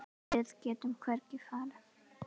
Við getum hvergi farið.